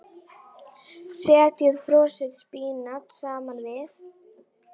Setjið frosið spínat saman við.